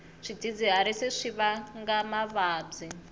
swidzidziharisi swi vanga mavabyi